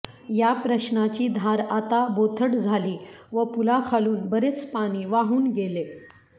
या प्रश्नाची धार आता बोथट झाली व पुलाखालून बरेच पाणी वाहून गेले